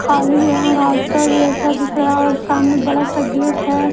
खाली यहां रास्ता जैसा दिख रहा है और सामने बड़ा गेट है।